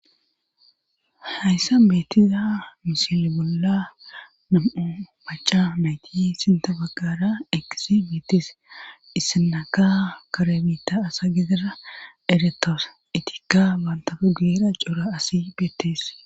Hayssa beettiza mishili bolla nam'u maca nayti sinta baggara ekisi mietis issinaka karabita asa gedira eretoos itikka baantafe guyera coura asi beettes.